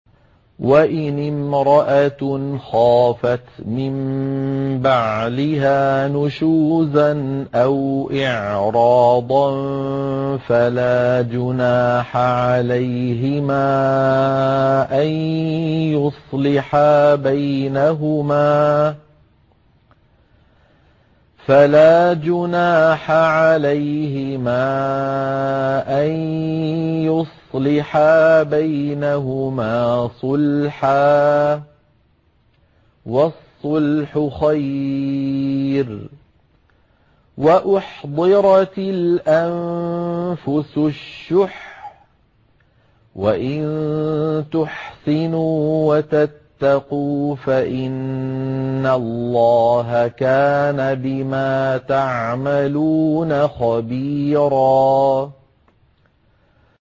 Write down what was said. وَإِنِ امْرَأَةٌ خَافَتْ مِن بَعْلِهَا نُشُوزًا أَوْ إِعْرَاضًا فَلَا جُنَاحَ عَلَيْهِمَا أَن يُصْلِحَا بَيْنَهُمَا صُلْحًا ۚ وَالصُّلْحُ خَيْرٌ ۗ وَأُحْضِرَتِ الْأَنفُسُ الشُّحَّ ۚ وَإِن تُحْسِنُوا وَتَتَّقُوا فَإِنَّ اللَّهَ كَانَ بِمَا تَعْمَلُونَ خَبِيرًا